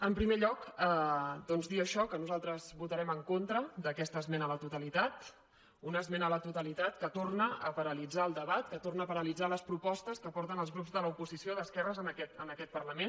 en primer lloc doncs dir això que nosaltres votarem en contra d’aquesta esmena a la totalitat una esmena a la totalitat que torna a paralitzar el debat que torna a paralitzar les propostes que porten els grups de l’oposició d’esquerres en aquest parlament